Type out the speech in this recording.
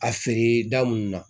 A feere da mun na